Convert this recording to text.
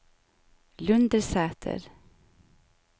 Lundersæter